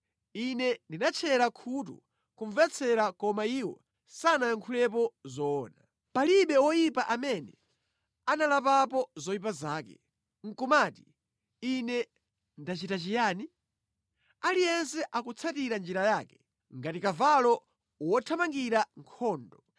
Ine ndinatchera khutu kumvetsera koma iwo sanayankhulepo zoona. Palibe woyipa amene analapapo zoyipa zake, nʼkumati, ‘Ine ndachita chiyani?’ Aliyense akutsatira njira yake ngati kavalo wothamangira nkhondo.